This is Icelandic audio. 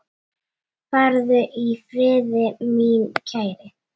Farðu í friði, minn kæri.